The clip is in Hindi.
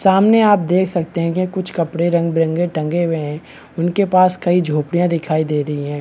सामने आप देख सकते हैं की कुछ कपड़े रंग-बिरंगे टंगे हुए हैं उनके पास कई झोपड़ियाँ दिखाई दे रही हैं।